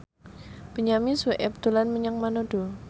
Benyamin Sueb dolan menyang Manado